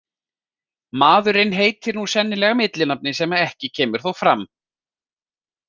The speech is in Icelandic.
Maðurinn heitir nú sennilega millinafni sem ekki kemur þó fram.